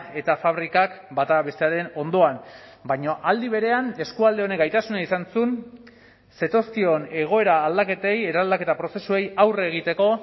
eta fabrikak bata bestearen ondoan baina aldi berean eskualde honek gaitasuna izan zuen zetozkion egoera aldaketei eraldaketa prozesuei aurre egiteko